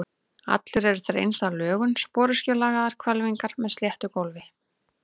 Allir eru þeir eins að lögun, sporöskjulagaðar hvelfingar með sléttu gólfi.